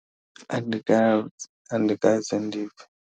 Andikaze, andikaze ndive.